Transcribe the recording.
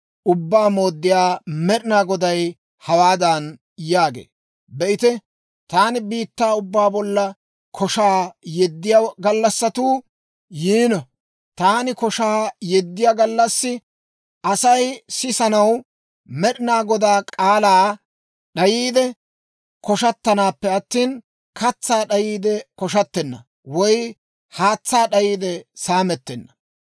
Ubbaa Mooddiyaa Med'inaa Goday hawaadan yaagee; «Be'ite, taani biittaa ubbaa bollan koshaa yeddiyaa gallassatuu yiino. Taani koshaa yeddiyaa gallassi, Asay sisanaw Med'inaa Godaa k'aalaa d'ayiide koshatanappe attina, katsaa d'ayiide koshattenna woy haatsaa d'ayiide saamettenna.